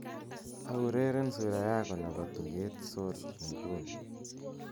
aureren sura yako nebo tuget sol inguni